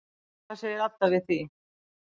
Hvað segir Adda við því?